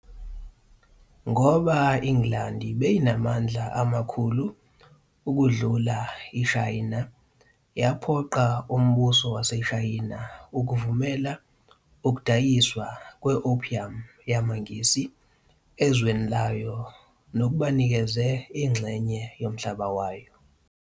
Ngoba iNgilandi beyinamandla amakhulu ukundlula iShayina yaphoqa umbuso waseShayina ukuvumela ukudayiswa kwe-opium yamaNgisi ezweni layo nokubanikeza inxenye yomhlaba wayo.